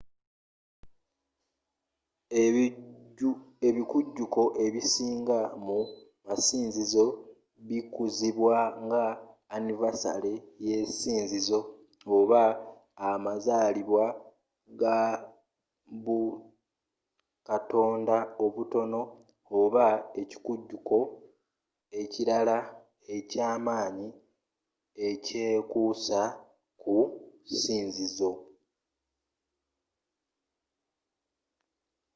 ebikujuko ebisinga mu masinzizo bikuzibwa nga annivasale yesinzizo oba amazaalibwa ga bukatonda obutono oba ekikujuko ekirala ekyamaanyi ekyekuusa ku sinzizo